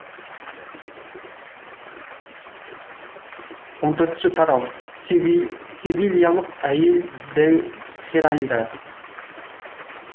он төртінші т а р а у севильялық әйел дәу хиральда